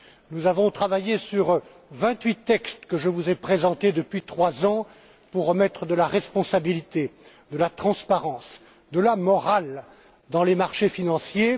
Nous avons travaillé sur vingt huit textes que je vous ai présentés depuis trois ans pour remettre de la responsabilité, de la transparence, de la morale dans les marchés financiers.